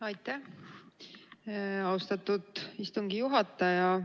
Aitäh, austatud istungi juhataja!